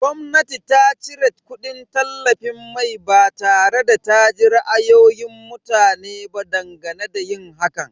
Gwamnati ta cire kudin tallafin mai ba tare da ta ji ra'ayoyin mutane ba dangane da yin hakan.